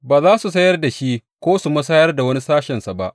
Ba za su sayar da shi ko su musayar da wani sashensa ba.